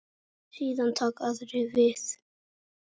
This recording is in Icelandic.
Síðan taka aðrir við.